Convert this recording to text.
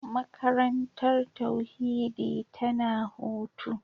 Makarantar tauhidi tana hutu.